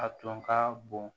A tun ka bon